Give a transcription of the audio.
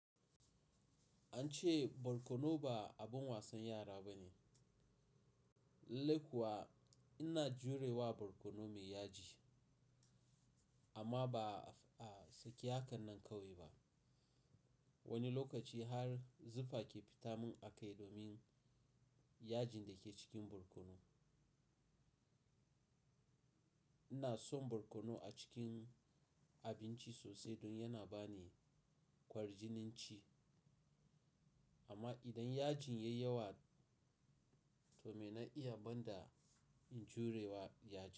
An ce barkono ba abin wasan yara ba ne. Lallai kuwa ina jurewa barkono mai yaji amma ba a sake hakan nan ƙawai ba. Wani lokaci har zufa ke fita mun a kai domin yajin da ke cikin barkono. Ina son barkono a cikin abinci sosai don yana ba ni kwarjinin ci amma idan yajin ya yi yawa to me na iya banda in jurewa yajin.